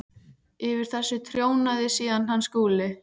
Yfir þessu trónaði síðan hann Skúli.